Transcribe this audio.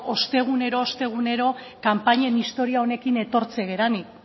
ostegunero ostegunero kanpainen istorioa honekin etortzen garenik